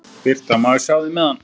Birta: Má ég sjá þig með hann?